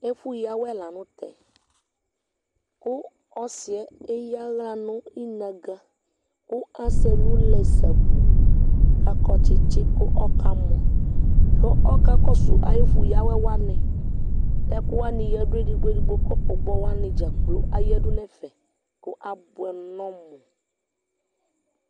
ɛfo ya awɛ lantɛ kò ɔsiɛ eya ala no inaga kò asɛ ɛlu lɛ sabu k'akɔ tsitsi kò ɔka mɔ kò ɔka kɔsu ayi ɛfu ya'wɛ wani k'ɛkò wani yadu edigbo edigbo kɔpu gbɔ wani dzakplo yadu n'ɛfɛ kò aboɛ nɔmu